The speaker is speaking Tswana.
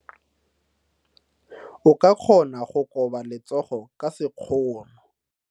O ka kgona go koba letsogo ka sekgono.